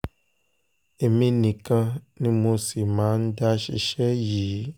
èmi nìkan ni mo sì máa ń dá ṣiṣẹ́ yìí